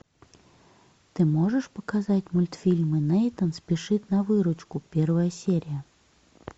ты можешь показать мультфильмы нейтан спешит на выручку первая серия